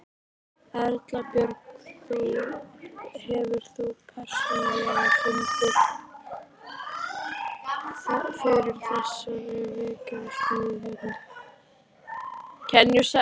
Erla Björg: Hefur þú persónulega fundið fyrir þessari verksmiðju hérna?